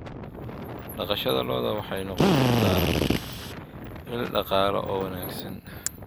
Dhaqashada lo'du waxay noqon kartaa il dhaqaale oo wanaagsan.